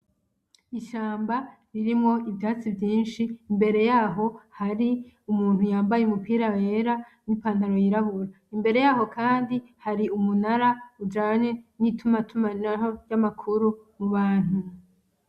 ishamba ririmwo ivyatsi vyinshi imbere yaho hari umuntu yambaye umupira wera n'ipantalo yirabura, imbere yaho Kandi hari umunara ujanye n'ituma tumanaho y'amakuru muhantu.